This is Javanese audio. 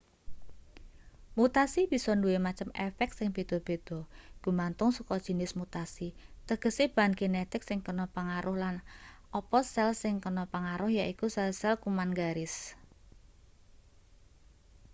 mutasi bisa duwe macem efek sing beda-beda gumantung saka jinis mutasi tegese bahan genetik sing kena pangaruh lan apa sel sing kena pangaruh yaiku sel-sel kuman-garis